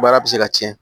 Baara bɛ se ka tiɲɛ